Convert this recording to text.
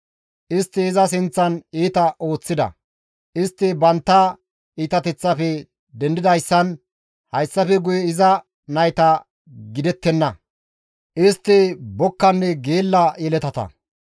«Istti iza sinththan iita ooththida; istti bantta iitateththaafe dendidayssan hayssafe guye iza nayta gidettenna; istti bokkanne geella yeletata.